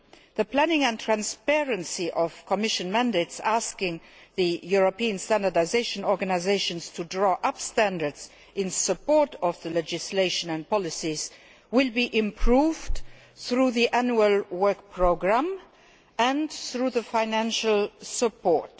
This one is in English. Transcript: The planning and transparency of Commission mandates asking the European standardisation organisations to draw up standards in support of the legislation and policies will be improved through the annual work programme and by means of financial support.